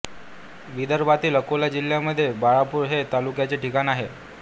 विदर्भातील अकोला जिल्ह्यामध्ये बाळापूर हे तालुक्याचे ठिकाण आहे